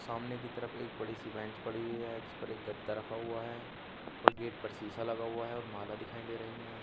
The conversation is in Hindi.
सामने की तरफ एक बड़ी सी बेंच पड़ी हुई है जिस पर एक गद्दा रखा हुआ है और गेट पर शीशा लगा हुआ है और माला दिखाई दे रही हैं।